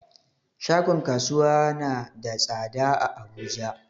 Shagon kasuwa na da tsada a abuja